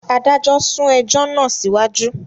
Adájọ sún ẹjọ náà siwaju